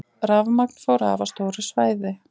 Rafmagn fór af á stóru svæði